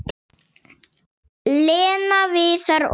Lena, Viðar og